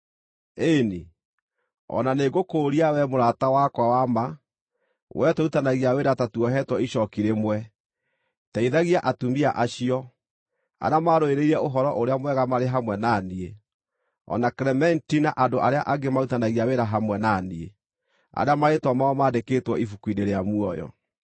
Ĩĩ-ni, o na nĩngũkũũria, wee mũrata wakwa wa ma, wee tũrutithanagia wĩra ta tuohetwo icooki rĩmwe, teithagia atumia acio, arĩa maarũĩrĩire Ũhoro-ũrĩa-Mwega marĩ hamwe na niĩ, o na Klementi na andũ arĩa angĩ marutithanagia wĩra hamwe na niĩ, arĩa marĩĩtwa mao mandĩkĩtwo ibuku-inĩ rĩa muoyo.